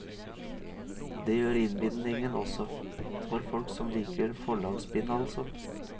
Det gjør innbindingen også, for folk som liker forlagsbind altså.